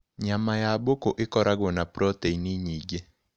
Nyama ya mbũkũ ĩkoragũo na proteini nyingĩ.